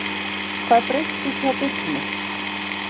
Hvað breyttist hjá Birni?